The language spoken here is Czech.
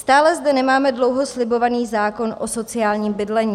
Stále zde nemáme dlouho slibovaný zákon o sociálním bydlení.